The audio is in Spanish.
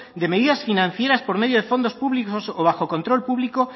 de medidas financieras por medio de fondos públicos o bajo control público